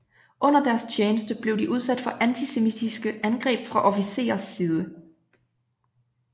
Under deres tjeneste blev de udsat for antisemitiske angreb fra officerers side